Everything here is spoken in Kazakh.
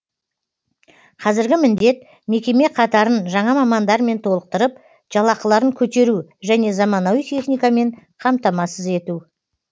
қазіргі басты міндет мекеме қатарын жаңа мамандармен толықтырып жалақыларын көтеру және заманауи техникамен қамтамасыз ету